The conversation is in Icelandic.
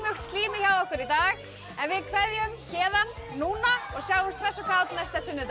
slímið hjá okkur í dag en við kveðjum héðan núna og sjáumst hress og kát næsta sunnudag